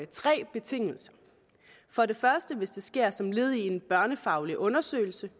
tre betingelser for det første hvis det sker som led i en børnefaglig undersøgelse